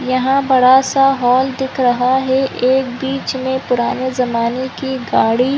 यहाँ बड़ा-सा हॉल दिख रहा है एक बीच में पुराने जमाने की गाड़ी--